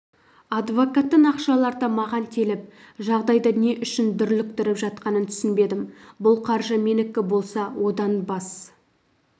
адвокаттың ақшаларды маған теліп жағдайды не үшін дүрліктіріп жатқанын түсінбедім бұл қаржы менікі болса одан бас